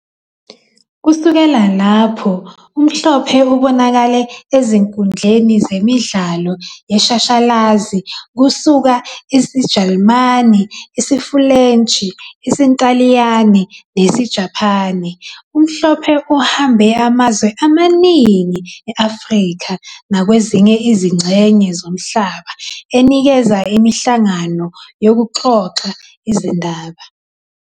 Kusukela lapho uMhlophe ubonakale ezinkundleni zemidlalo yeshashalazi kusuka isiJalimane, isiFulentshi, isiNtaliyane, nesiJapane. UMhlophe uhambe amazwe amaningi e-Afrika nakwezinye izingxenye zomhlaba enikeza imihlangano yokuxoxa izindaba.